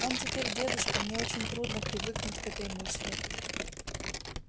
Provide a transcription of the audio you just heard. он теперь дедушка мне очень трудно привыкнуть к этой мысли